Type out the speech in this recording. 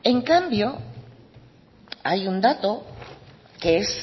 en cambio hay un dato que es